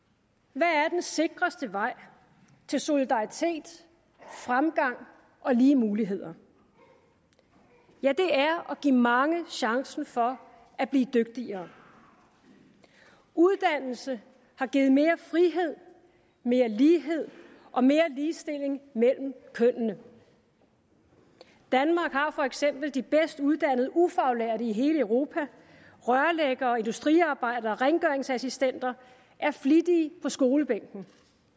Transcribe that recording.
hvad er den sikreste vej til solidaritet fremgang og lige muligheder det er at give mange chancen for at blive dygtigere uddannelse har givet mere frihed mere lighed og mere ligestilling mellem kønnene danmark har for eksempel de bedst uddannede ufaglærte i hele europa rørlæggere industriarbejdere og rengøringsassistenter er flittige på skolebænken